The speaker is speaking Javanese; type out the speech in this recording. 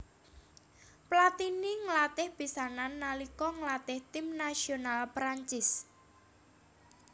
Platini nglatih pisanan nalika nglatih tim nasional Prancis